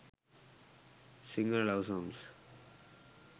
sinhala love songs